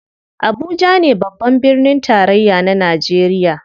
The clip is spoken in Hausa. Abuja ne babban birnin tarayya na najeriya.